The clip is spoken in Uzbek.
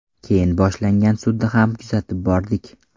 Keyin boshlangan sudni ham kuzatib bordik.